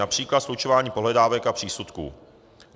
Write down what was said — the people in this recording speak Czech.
Například slučování pohledávek a přísudků.